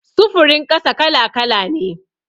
Sufurin ƙasa kala-kala ne.